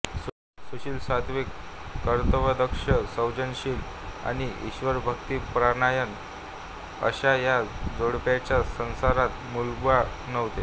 सुशील सात्त्विक कर्तव्यदक्ष सौजन्यशील आणि ईश्वरभक्तिपरायण अशा या जोडप्याच्या संसारात मूलबाळ नव्हते